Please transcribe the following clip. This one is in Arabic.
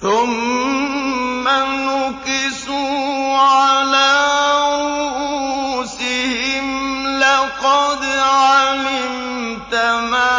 ثُمَّ نُكِسُوا عَلَىٰ رُءُوسِهِمْ لَقَدْ عَلِمْتَ مَا